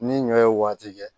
Ni ɲɔ ye waati kɛ